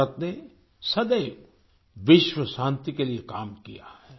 भारत ने सदैव विश्व शांति के लिए काम किया है